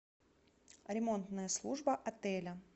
ремонтная служба отеля